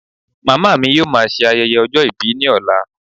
Màmá mi yóò má ṣe ayẹyẹ ọjọ́ ìbí ni ọlá